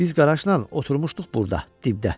Biz qaraşla oturmuşduq burda, dibdə.